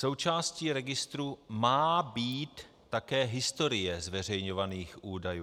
Součástí registru má být také historie zveřejňovaných údajů.